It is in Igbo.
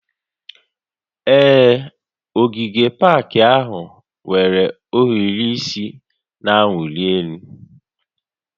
Ee, ogige pak ahụ nwere ohiri isi na-awụli elu